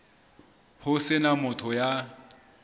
ho se na motho ya